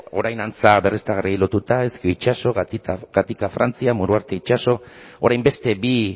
orain antza berriztagarriei lotuta ezkio itsaso gatika frantzia muruarte itxaso orain beste bi